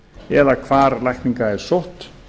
eða hvar lækning er sótt